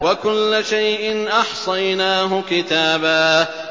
وَكُلَّ شَيْءٍ أَحْصَيْنَاهُ كِتَابًا